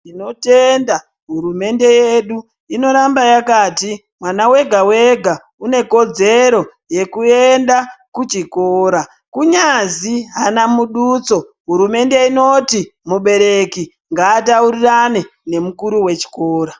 Tinotenda hurumende yedu inoramba yakati mwana wega wega une kodzero yekuenda kuchikora kunyazi aana muduso hurumende inoti mubereki ngaataurirane nemukuru wechikora.